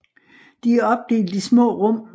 De er opdelt i små rum